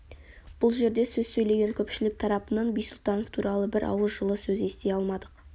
бұл жерде сөз сөйлеген көпшілік тарапынан бисұлтанов туралы бір ауыз жылы сөз ести алмадық